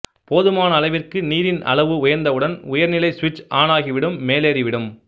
போதுமான அளவிற்கு நீரின் அளவு உயர்ந்தவுடன் உயர் நிலை சுவிட்ச் ஆனாகிவிடும் மேலேறி விடும்